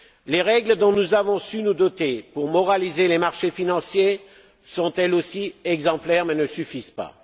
Les règles dont nous avons su nous doter pour moraliser les marchés financiers sont, elles aussi, exemplaires mais ne suffisent pas.